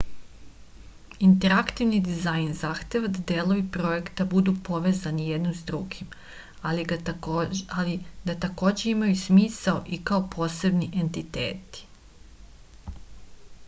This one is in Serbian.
interaktivni dizajn zahteva da delovi projekta budu povezani jedni s drugim ali da takođe imaju smisla i kao posebni entiteti